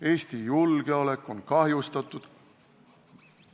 Eesti julgeolekut on kahjustatud?